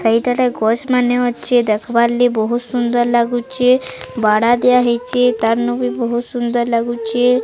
ସେଇଟାରେ ଗଛ୍ ମାନେ ଅଛି ଦେଖିବାରଲେ ବହୁତ୍ ସୁନ୍ଦର୍ ଲାଗୁଚି ବାଡ଼ା ଦିଆ ହେଇଚି ତାନୁ ବି ବହୁତ୍ ସୁନ୍ଦର୍ ଲାଗୁଚି।